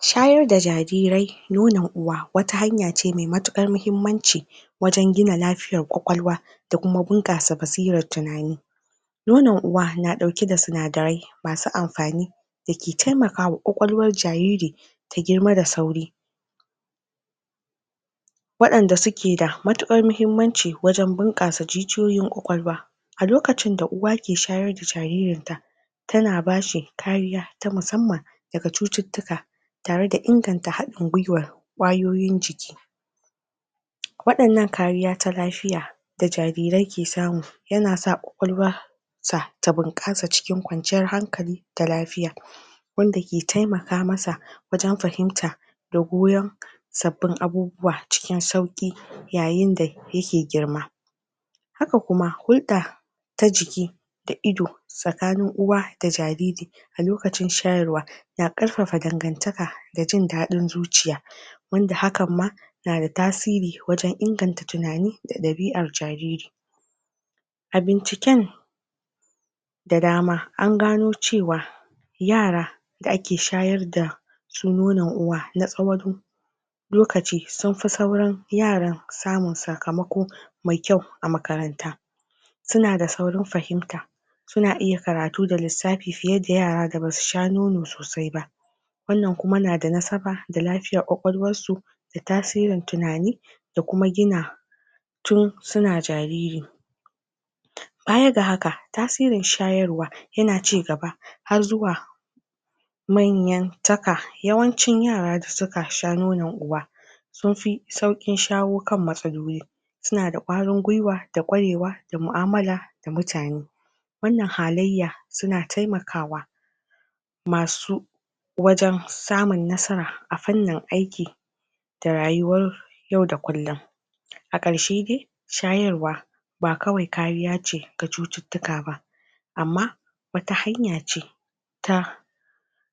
shayar da jarirai nonon uwa wata hanyace mai matuƙar mahimmanci wajan gina lafiyar ƙwaƙwalwa da kuma buƙasa ba sirar tunani nonon uwa na ɗauke da sinadarai masu amfani dake taimakawa ƙwaƙwalwar jariri ta girma da sauri waɗanda suke da matuƙar mahimmanci wajan bunƙasa jijiyoyin ƙwaƙwalwa a lokacin da uwa ke shayar da jaririnta tana bashi ƙariya ta musamman daga cututtuka tare da haɗin gwiwar ƙwayoyin jiki waɗannan kariya ta lafiya da jarirai ke samu yana sa ƙwaƙwalwar sa ta bunƙasa a cikin ƙwanciyar hankali da lafiya wanda ke taimaka masa wajan fahimta da goyan sabbin abubuwa cikin sauƙi yayin da yake girma haka kuma hulɗa ta jiki da ido tsakanin uwa da jariri a lokacin shayarwa na ƙarfafa dangantaka da jindaɗin zuciya wanda hakan ma nada tasiri wajan inganta tunani da ɗabi'ar jariri abincikin da dama angano cewa yara da ake shayar dasu nonon uwa na tsawan na tsawan lokaci sunfi sauran yaran samun sakamako mai kyau a makaranta suna d saurin fahimta suna iya karatu da lissafi fiye da yara da basu sha nono sosai ba wannan kuma na da nasaba da lafiyar ƙwaƙwalwarsu datasirin tunani da kuma gina tun suna jariri baya ga haka tasirin shayarwa yana cigaba har zuwa manyan taka yawancin yara da suka sha nonon uwa sunfi sauƙin shawo kan matsaloli suna da ƙwarin gwiwa da ƙwarewa da mu'amala da mutane wannan halayya suna taimakawa masu wajan samun nasara a fannin aiki da rayuwar yau da kullin a ƙarshe dai shayarwa ba kawai kariyace ga cututtuka ba amma wata hanyace ta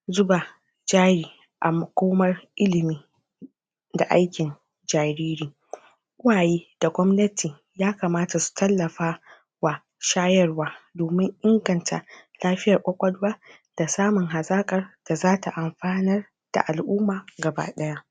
zuba jari a makomar ilimi da aikin jariri uwaye da gwamnati ya kamata su tallafa wa shayarwa domin inganta lafiya ƙwaƙwalwa da samun hazaƙar da zata amfanar da al'umma gaba ɗaya